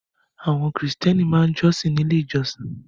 Àwọn Kìrìtẹ́ẹ́nì máa ń jọ́sìn ní Ilé-ìjọsìn.